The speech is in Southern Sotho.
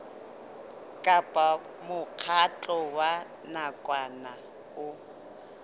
kapa mokgatlo wa nakwana o